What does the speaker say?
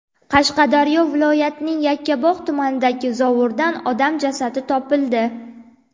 Qashqadaryo viloyatining Yakkabog‘ tumanidagi zovurdan odam jasadi topildi.